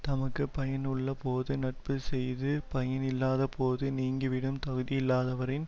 தமக்கு பயன் உள்ள போது நட்பு செய்து பயன் இல்லாத போது நீங்கிவிடும் தகுதியில்லாதவரின்